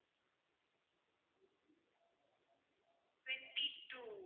twenty-two